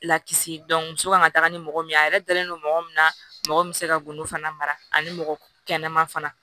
Lakisi muso kan ka taga ni mɔgɔ min ye a yɛrɛ dalen don mɔgɔ min na mɔgɔ bɛ se ka golo fana ani mɔgɔ kɛnɛma fana